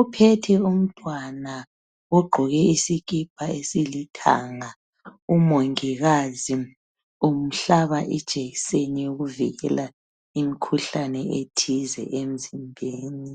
uphethe umntwana ogqoke isikipa esilithanga umongikazi umhlaba ijekiseni yokuvikela imikhuhlane ethize emzimbeni.